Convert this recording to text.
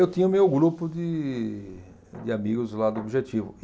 Eu tinha o meu grupo de de amigos lá do Objetivo.